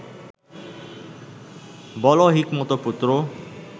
বলো, হিকমত-পুত্র